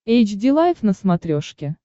эйч ди лайф на смотрешке